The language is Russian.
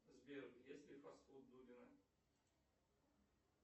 сбер есть ли фастфуд дудина